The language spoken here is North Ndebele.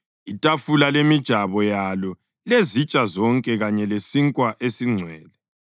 itafula lemijabo yalo lezitsha zonke kanye lesinkwa esiNgcwele,